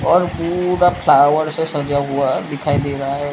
और पूरा फ्लावर से सजा हुआ दिखाई दे रहा है।